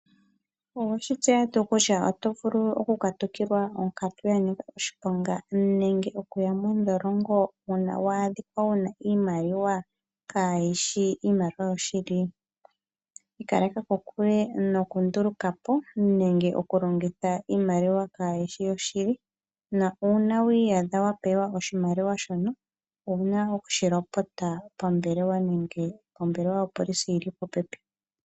Owe shi tseya tuu kutya oto vulu okukatukilwa onkatu ya nika oshiponga nenge okuya mondholongo uuna wa adhika wu na iimaliwa kaayi shi iimaliwa yoshili? Ikaleka kokule nokunduluka po nenge okulongitha iimaliwa kaayi shi yoshili. Uuna wi iyadha wa pewa oshimaliwa shono owu na okushi lopota pombelewa yopolisi yi li popepi nangoye.